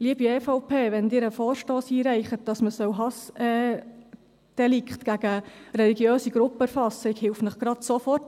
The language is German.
Liebe EVP, wenn Sie einen Vorstoss einreichen, wonach man Hassdelikte gegen religiöse Gruppen erfassen soll, helfe ich Ihnen sofort.